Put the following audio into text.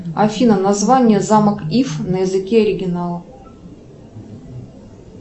афина название замок иф на языке оригинала